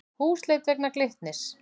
Húsleit vegna Glitnis